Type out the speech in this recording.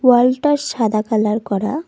ওয়াল -টা সাদা কালার করা।